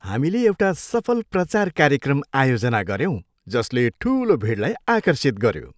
हामीले एउटा सफल प्रचार कार्यक्रम आयोजना गर्यौँ जसले ठुलो भिडलाई आकर्षित गऱ्यो।